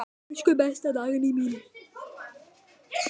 Elsku besta Dagný mín.